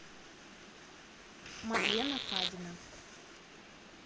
мадлена фадина